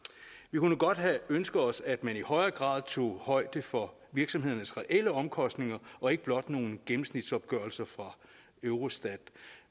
kunne godt have ønsket os at man i højere grad tog højde for virksomhedernes reelle omkostninger og ikke blot nogle gennemsnitsopgørelser fra eurostat